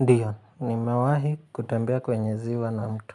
Ndiyo nimewahi kutambea kwenye ziwa na mto